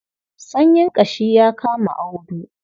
Sanyin ƙashi ya kama Audu.